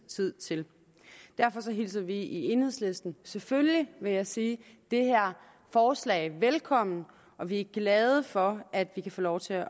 tid til derfor hilser vi i enhedslisten selvfølgelig vil jeg sige det her forslag velkommen og vi er glade for at vi kan få lov til at